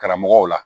Karamɔgɔw la